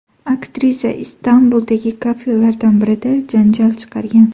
Aktrisa Istanbuldagi kafelardan birida janjal chiqargan.